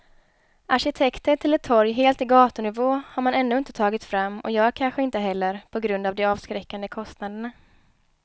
Arkitekter till ett torg helt i gatunivå har man ännu inte tagit fram och gör kanske inte heller på grund av de avskräckande kostnaderna.